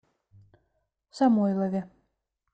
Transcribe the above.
самойлове